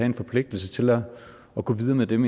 en forpligtelse til at gå videre med dem